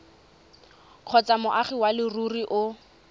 kgotsa moagi wa leruri o